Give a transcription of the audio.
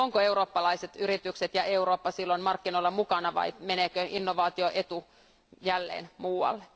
Ovatko eurooppalaiset yritykset ja Eurooppa silloin markkinoilla mukana vai meneekö innovaatioetu jälleen muualle?